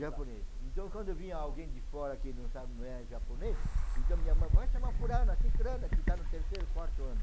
Japônes. Então quando vinha alguém de fora que não sabe não é japonês, então minha mãe, vai chamar fulana, ciclana, que está no terceiro, quarto ano.